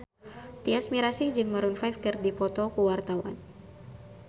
Tyas Mirasih jeung Maroon 5 keur dipoto ku wartawan